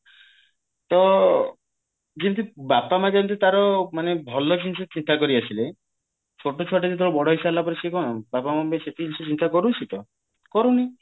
ତ ଯେମି ବାପା ମା ଯେମତି ତାର ମାନେ ଭଲ ଜିନିଷ ଚିନ୍ତା କରି ଆସିଲେ ଛୋଟ ଛୁଆଟା ଯେତେବେଳେ ବଡ ହେଇସାରିଲା ପରେ ସିଏ କଣ ବାପା ମାଙ୍କ ପାଇଁ ସେତିକି ଜିନିଷ ଚିନ୍ତା କରୁଛି ତ କରୁନି